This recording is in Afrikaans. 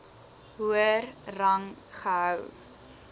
hoër rang gehou